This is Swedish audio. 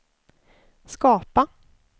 skapa